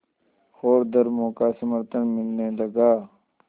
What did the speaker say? और धर्मों का समर्थन मिलने लगा